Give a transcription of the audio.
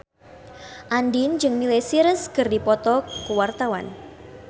Andien jeung Miley Cyrus keur dipoto ku wartawan